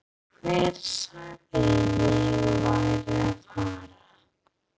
Hver sagði að ég væri að fara?